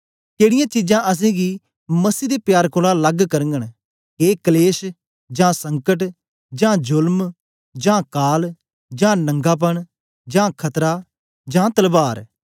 केडीयां चीजां असेंगी मसीह दे प्यार कोलां लग करगन के कलेश जां संकट जां जोलम जां काल जां नंगापन जां खतरा जां तलवार